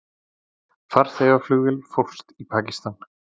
Farþegaflugvél fórst í Pakistan